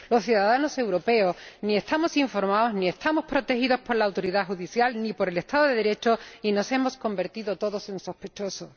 Los ciudadanos europeos no estamos informados ni estamos protegidos por la autoridad judicial ni por el Estado de Derecho y nos hemos convertido todos en sospechosos.